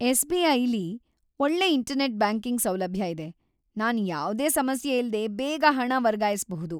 ಎಸ್‌.ಬಿ.ಐ.ಲಿ ಒಳ್ಳೆ internet banking ಸೌಲಭ್ಯ ಇದೆ. ನಾನ್ ಯಾವ್ದೇ ಸಮಸ್ಯೆಯಿಲ್ದೆ ಬೇಗ ಹಣ ವರ್ಗಾಯಿಸ್ಬಹುದು.